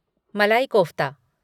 मलाई कोफ़्ता